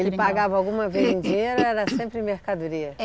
Ele pagava alguma vez em dinheiro ou era sempre em mercadoria?